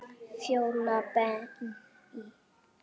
Fjóla Benný.